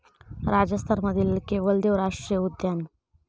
राजस्थान मधील केवलदेव राष्ट्रीय उद्यान